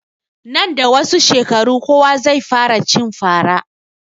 Nan da wasu shekaru kowa zai fara cin fara